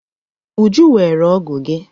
Uju weere ọ́gụ̀ gi.